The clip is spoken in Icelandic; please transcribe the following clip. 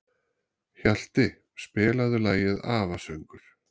Hjalti, spilaðu lagið „Afasöngur“.